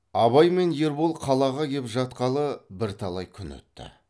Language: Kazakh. абай мен ербол қалаға кеп жатқалы бірталай күн өтті